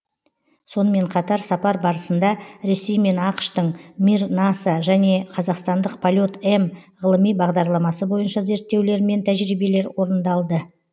сонымен қатар сапар барысында ресей мен ақш тың мир наса және қазақстандық полет м ғылыми бағдарламасы бойынша зерттеулер мен тәжірибелер орындалды